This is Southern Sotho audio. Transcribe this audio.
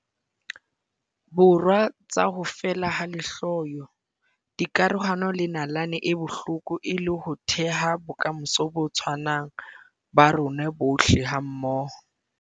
Borwa tsa ho feela ha lehloyo, dikarohano le nalane e bohloko e le ho theha bokamoso bo tshwanang ba rona bohle hammoho.